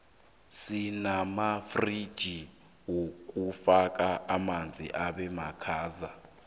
sinamafxigi wokufaka amanzi abemakhaza